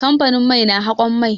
Kamfanin mai na haƙon mai.